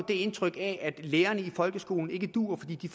det indtryk at lærerne i folkeskolen ikke duer fordi de